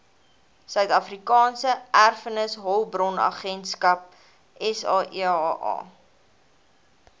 suidafrikaanse erfenishulpbronagentskap saeha